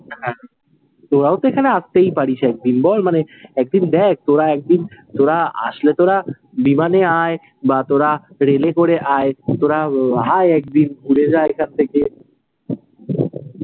তোরাও তো এখানে আসতেই পারিস এক দিন বল, মানে এক দিন দেখ, তোরা এক দিন তোরা আসলে তোরা বিমানে আয়ে, বা তোরা রেলে করে আয়ে, তোরা আয়ে এক দিন, ঘুরে যা এখান থেকে।